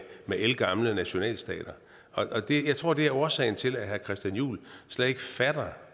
ældgamle nationalstater jeg tror det er årsagen til at herre christian juhl slet ikke fatter